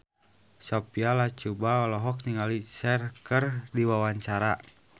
Sophia Latjuba olohok ningali Cher keur diwawancara